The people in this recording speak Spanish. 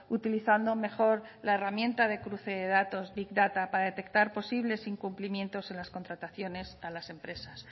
utilizando mejor la herramienta de cruce de datos big data para detectar posibles incumplimientos en las contrataciones a las empresas